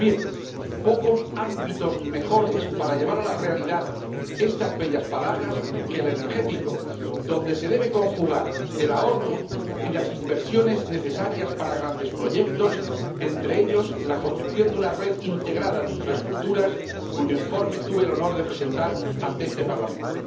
Pues bien, pocos ámbitos mejores para llevar a la realidad estas bellas palabras que el energético, donde se deben conjugar el ahorro y las inversiones necesarias para grandes proyectos, entre ellos la construcción de una red integrada de infraestructuras, cuyo informe tuve el honor de presentar ante este Parlamento.